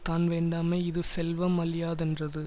தான் வேண்டாமை இது செல்வ மழியாதென்றது